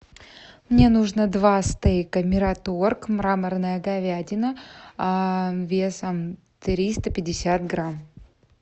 мне нужно два стейка мираторг мраморная говядина весом триста пятьдесят грамм